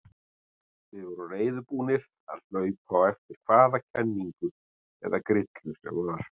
Við vorum reiðubúnir að hlaupa á eftir hvaða kenningu eða grillu sem var.